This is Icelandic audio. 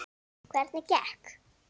Hvernig gekk?